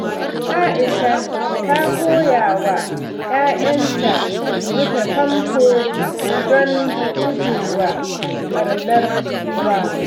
Aisha ta koya wa ’ya’yanta rufe famfo don gujewa ɓarnar ruwa.